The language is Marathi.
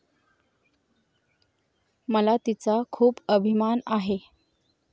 मला तिचा खूप अभिमान आहे.